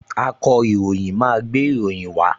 Akọ̀ròyìn máa gbé ìròyìn wá